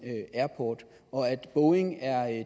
airport og at boeing er